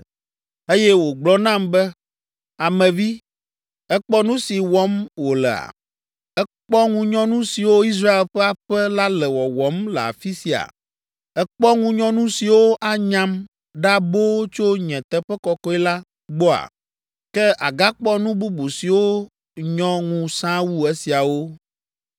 Eye wògblɔ nam be, “Ame vi, èkpɔ nu si wɔm wolea? Èkpɔ ŋunyɔnu siwo Israel ƒe aƒe la le wɔwɔm le afi sia? Èkpɔ ŋunyɔnu siwo anyam ɖa boo tso nye teƒe kɔkɔe la gbɔa? Ke àgakpɔ nu bubu siwo nyɔ ŋu sãa wu esiawo.”